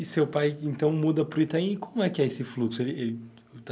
E seu pai então muda para o Itaim, como é que é esse fluxo? Ele ele